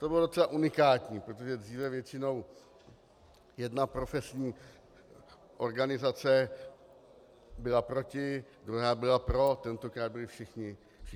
To bylo docela unikátní, protože dříve většinou jedna profesní organizace byla proti, druhá byla pro, tentokrát byly všichni pro.